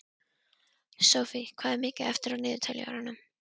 Sophie, hvað er mikið eftir af niðurteljaranum?